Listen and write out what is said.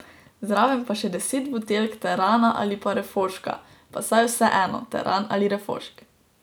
Zraven pa še deset buteljk terana ali pa refoška, pa saj je vseeno, teran ali refošk.